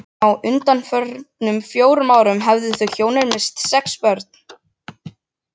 Á undanförnum fjórum árum höfðu þau hjónin misst sex börn.